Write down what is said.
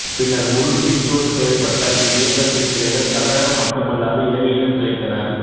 பின்னர் முழு வீச்சோடு செயல்பட்ட இவ்வியக்கத்தின் கிளைகள் தமிழகம் மட்டுமல்லாது இலங்கையிலும் கிளைத்தன